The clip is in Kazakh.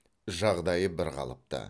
жағдайы бірқалыпты